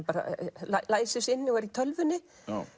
læsir sig inni og er í tölvunni